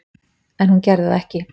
En hún gerði það ekki.